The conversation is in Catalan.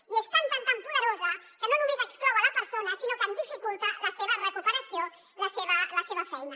i és tan tan tan poderosa que no només exclou la persona sinó que en dificulta la seva recuperació la seva feina